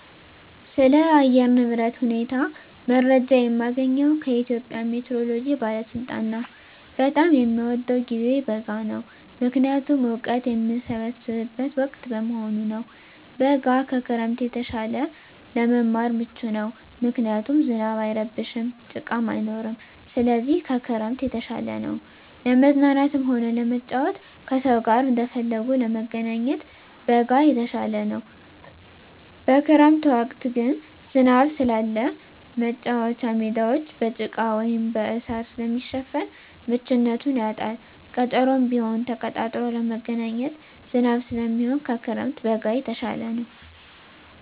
ስለ አየር ንብረት ሁኔታ መረጃ የማገኘዉ ከኢትዮጵያ ሜትሮሎጂ ባለስልጣን ነዉ። በጣም የምወደዉ ጊዜ በጋ ነዉ ምክንያቱም እወቀት የምሰበስብበት ወቅት በመሆኑ ነዉ። በጋ ከክረምት የተሻለ ለመማር ምቹ ነዉ ምክንያቱም ዝናብ አይረብሽም ጭቃም አይኖርም ስለዚህ ከክረምት የተሻለ ነዉ። ለመዝናናትም ሆነ ለመጫወት ከሰዉ ጋር እንደፈለጉ ለመገናኘት በጋ የተሻለ ነዉ። በክረምት ወቅት ግን ዝናብ ስላለ መቻወቻ ሜዳወች በጭቃ ወይም በእሳር ስለሚሸፈን ምቹነቱን ያጣል ቀጠሮም ቢሆን ተቀጣጥሮ ለመገናኘት ዝናብ ስለሚሆን ከክረምት በጋ የተሻለ ነዉ።